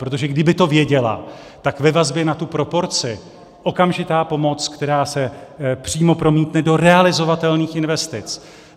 Protože kdyby to věděla, tak ve vazbě na tu proporci okamžitá pomoc, která se přímo promítne do realizovatelných investic.